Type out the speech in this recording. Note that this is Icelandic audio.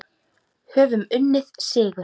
Höfum unnið sigur.